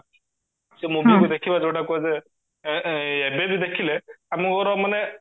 ସେ movie କୁ ଦେଖିବା ଯୋଉଟା କୁହାଯାଏ ଏ ଏ ଏବେ ବି ଦେଖିଲେ ମାନେ